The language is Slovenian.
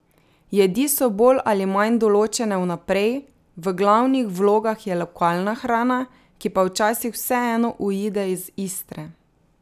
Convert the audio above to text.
Jedi so bolj ali manj določene vnaprej, v glavnih vlogah je lokalna hrana, ki pa včasih vseeno uide iz Istre.